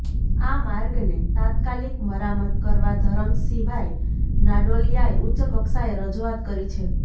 આ માર્ગને તાત્કાલિક મરામત કરવા ધરમશીભાઈ નાડોલિયાએ ઉચ્ચકક્ષાએ રજુઆત કરી છે